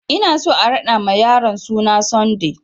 Ina so a raɗa ma yaron suna Sunday!